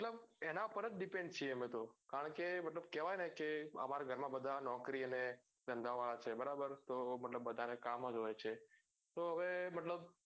મતલબ એના પર જ depend છીએ અમે તો કારણ કે મતલબ કેવાય ને કે અમર ઘર માં બધા નોકરી અને ધંધા વાળા છીએ બરાબર તો બધા ને કામ જ હોય છે તો હવે મતલબ